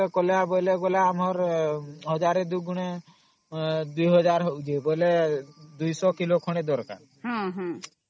ରେ ଧିରେ ଆମେ ସେଟା 1000 ଡୁଗୁଣେ 2000 ହେଲେ 200 କିଲୋ ଖଣ୍ଡେ ଦରକାର